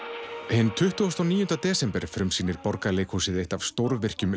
hinn tuttugu og níu desember frumsýnir Borgarleikhúsið eitt af stórvirkjum